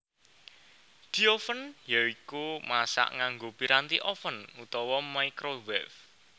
Dioven ya iku masak nganggo piranti oven utawa microwave